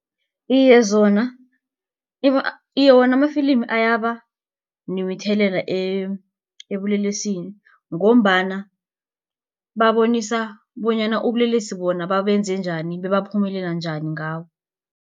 Iye, zona iye wona amafilimi ayaba nomthelela ebulelesini ngombana babonisa bonyana ubulelesi bona babenze njani bebaphumelela njani ngabo.